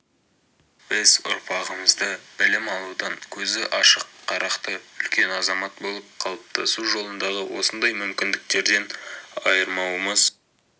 біз ұрпағымызды білім алудан көзі ашық қарақты үлкен азамат болып қалыптасу жолындағы осындай мүмкіндіктерден айырмауымыз